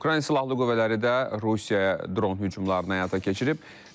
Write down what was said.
Ukrayna Silahlı Qüvvələri də Rusiyaya dron hücumlarını həyata keçirib.